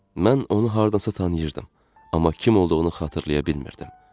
Mən onu hardasa tanıyırdım, amma kim olduğunu xatırlaya bilmirdim.